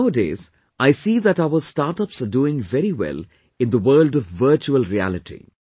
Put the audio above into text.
Like, nowadays I see that our startups are doing very well in the world of virtual reality